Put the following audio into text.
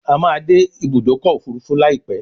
A má dé Ibùdókọ̀ òfurufú laipe